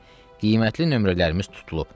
Qiymətli nömrələrimiz tutulub.